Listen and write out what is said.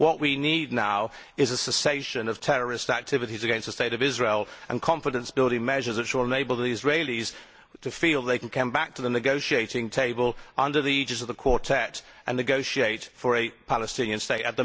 what we need now is a cessation of terrorist activities against the State of Israel and confidence building measures which will enable the Israelis to feel that they can come back to the negotiating table under the aegis of the Quartet and negotiate for a Palestinian State.